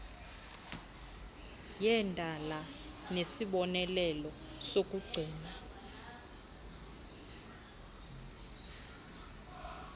yendala nesibonelelo sokucima